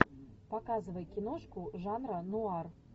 показывай киношку жанра ноар